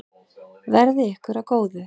Verði ykkur að góðu.